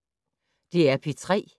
DR P3